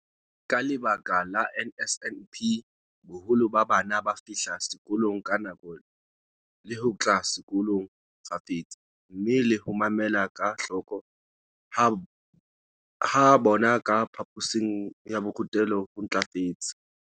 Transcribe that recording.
Ka lebaka la NSNP, boholo ba bana ba fihla sekolong ka nako le ho tla sekolong kgafetsa, mme le ho mamela ka hloko ha bona ka phaphosing ya borutelo ho ntlafetse.